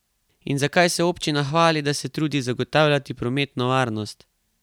In zakaj se občina hvali, da se trudi zagotavljati prometno varnost?